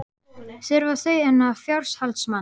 Þurfa þau fjárhaldsmann?